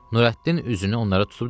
Nurəddin üzünü onlara tutub dedi: